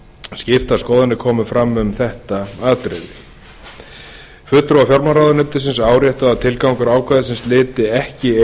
skiptar skoðanir komu fram um þetta atriði fulltrúar fjármálaráðuneytis áréttuðu að tilgangur ákvæðisins lyti ekki